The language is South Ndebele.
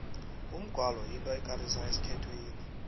umgwalo yinto ekarisako esikhethwini